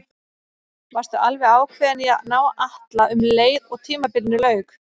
Varstu alveg ákveðinn í að ná í Atla um leið og tímabilinu lauk?